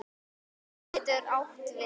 Nótt getur átt við